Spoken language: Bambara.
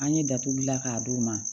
An ye datuguli bila k'a d'u ma